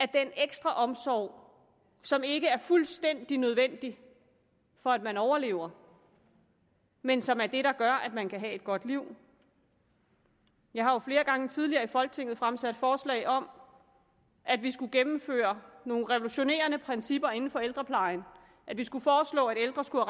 den ekstra omsorg som ikke er fuldstændig nødvendig for at man overlever men som er det der gør at man kan have et godt liv jeg har jo flere gange tidligere i folketinget fremsat forslag om at vi skulle gennemføre nogle revolutionerende principper inden for ældreplejen at vi skulle foreslå at ældre skulle